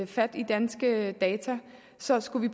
fat i danske data så skal vi